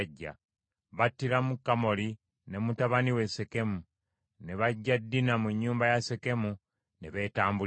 Battiramu Kamoli ne mutabani we Sekemu ne baggya Dina mu nnyumba ya Sekemu ne beetambulira.